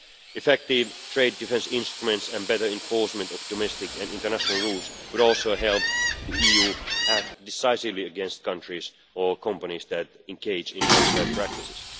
Effective trade defence instruments and better enforcement of domestic and international rules could also help the EU to act decisively against countries or companies that engage in unfair practices.